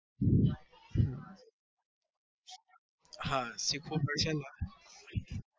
હા શીખવું પડશે ને